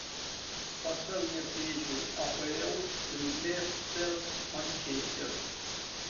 поставь мне встречу апл лестер манчестер